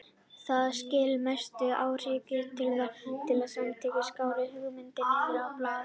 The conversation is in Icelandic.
Það skilar mestum árangri að vinna markvisst saman og skrá hugmyndir niður á blað.